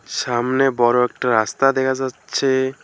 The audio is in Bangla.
সামনে বড় একটা রাস্তা দেহা যাচ্ছে।